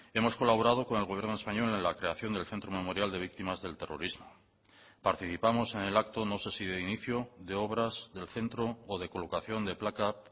hemos colaborado con el gobierno español en la creación del centro memorial de víctimas del terrorismo participamos en el acto no sé si de inicio de obras del centro o de colocación de placa